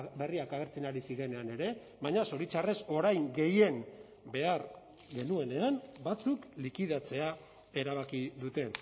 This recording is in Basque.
berriak agertzen ari zirenean ere baina zoritxarrez orain gehien behar genuenean batzuk likidatzea erabaki dute